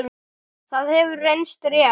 Það hefur reynst rétt.